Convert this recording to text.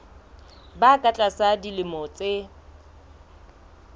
ba ka tlasa dilemo tse